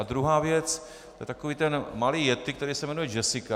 A druhá věc, to je takový ten malý yetti, který se jmenuje Jessica.